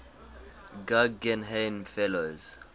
guggenheim fellows